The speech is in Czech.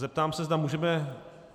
Zeptám se, zda můžeme...?